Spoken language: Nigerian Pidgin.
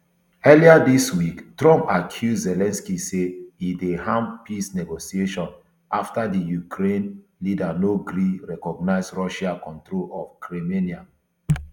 earlier dis week trump accuse zelensky say e dey harm peace negotiations afta di ukraine leader no gree recognise russia control of crimenia